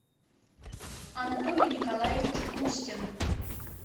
анатолий николаевич устин